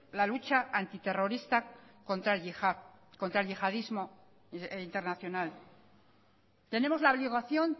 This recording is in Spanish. la lucha antiterrorista contra el yihad contra el yihadismo internacional tenemos la obligación